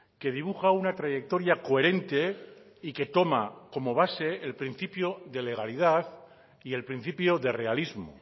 que dibuja una trayectoria coherente y que toma como base el principio de legalidad y el principio de realismo